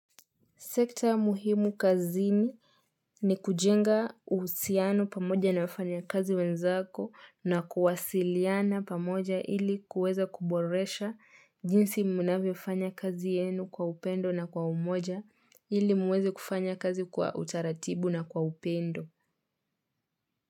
Sekta muhimu kazini ni kujenga uhusiano pamoja na wafanyakazi wenzako na kuwasiliana pamoja ili kuweza kuboresha jinsi mnavyofanya kazi yenu kwa upendo na kwa umoja ili muweze kufanya kazi kwa utaratibu na kwa upendo.